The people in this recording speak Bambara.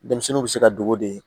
Denmisɛnninw bɛ se ka dogo de